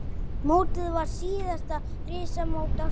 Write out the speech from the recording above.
Mótið var síðasta risamót ársins.